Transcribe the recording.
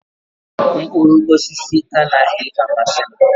Mkpụrụ osisi anaghị amasị m